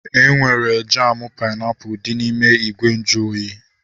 Enwere jamu painiapulu dị n'ime ìgwè nju oyi